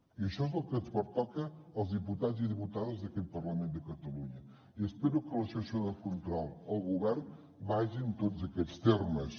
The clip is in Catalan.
i això és el que ens pertoca als diputats i diputades d’aquest parlament de catalunya i espero que la sessió de control al govern vagi en tots aquests termes